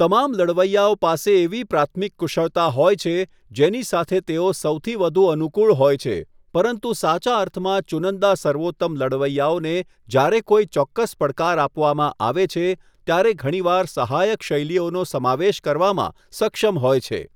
તમામ લડવૈયાઓ પાસે એવી પ્રાથમિક કુશળતા હોય છે જેની સાથે તેઓ સૌથી વધુ અનુકુળ હોય છે, પરંતુ સાચા અર્થમાં ચુનંદા સર્વોત્તમ લડવૈયાઓને જ્યારે કોઈ ચોક્કસ પડકાર આપવામાં આવે છે ત્યારે ઘણીવાર સહાયક શૈલીઓનો સમાવેશ કરવામાં સક્ષમ હોય છે.